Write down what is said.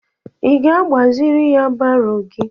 Ị ga-agbaziri ya baro gị?